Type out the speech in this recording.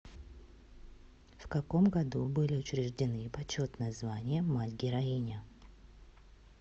в каком году были учреждены почетное звание мать героиня